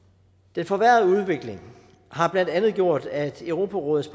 den forværrede udvikling har blandt andet gjort at europarådets